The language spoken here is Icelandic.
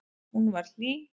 Hún var hlý.